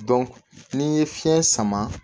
n'i ye fiɲɛ sama